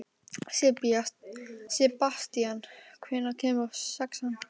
Sebastían, hvenær kemur sexan?